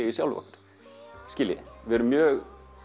í sjálfum okkur við erum mjög